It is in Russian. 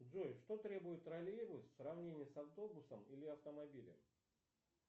джой что требует троллейбус в сравнении с автобусом или автомобилем